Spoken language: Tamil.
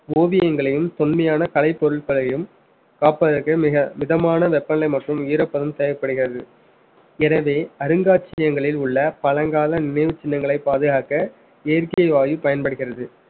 ஓவியங்களையும் தொன்மையான கலைப்பொருட்களையும் காப்பதற்கு மிக மிதமான வெப்பநிலை மற்றும் ஈரப்பதம் தேவைப்படுகிறது எனவே அருங்காட்சியங்களில் உள்ள பழங்கால நினைவு சின்னங்களை பாதுகாக்க இயற்கை வாயு பயன்படுகிறது